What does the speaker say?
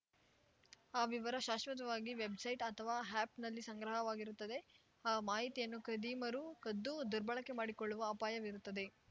ಆ ವಿವರ ಶಾಶ್ವತವಾಗಿ ವೆಬ್‌ಸೈಟ್‌ ಅಥವಾ ಆ್ಯಪ್‌ನಲ್ಲಿ ಸಂಗ್ರಹವಾಗಿರುತ್ತದೆ ಆ ಮಾಹಿತಿಯನ್ನು ಖದೀಮರು ಕದ್ದು ದುರ್ಬಳಕೆ ಮಾಡಿಕೊಳ್ಳುವ ಅಪಾಯವಿರುತ್ತದೆ